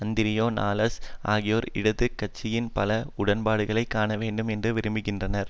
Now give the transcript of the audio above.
அந்திரேயா நாலஸ் ஆகியோர் இடது கட்சியுடன் பல உடன்பாடுகளை காணவேண்டும் என்று விரும்புகின்றனர்